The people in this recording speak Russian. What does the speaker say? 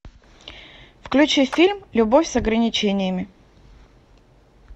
включи фильм любовь с ограничениями